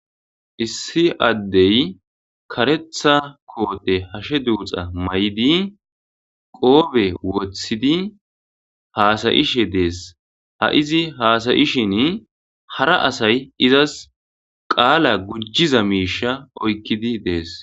issi addey karetha koote hashe duuxa may7idi qoobe wothidi haasayishe dees ha izi haasayishin hara asay izas qaala gujjiza miisha oykkidi dees